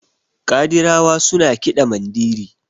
kadirawa suna kiɗa Mandiri